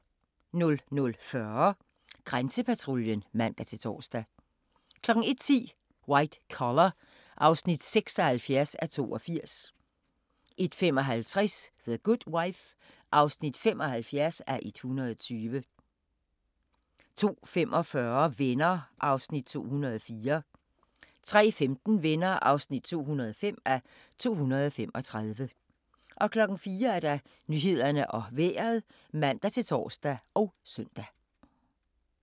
00:40: Grænsepatruljen (man-tor) 01:10: White Collar (76:82) 01:55: The Good Wife (75:120) 02:45: Venner (204:235) 03:15: Venner (205:235) 04:00: Nyhederne og Vejret (man-tor og søn)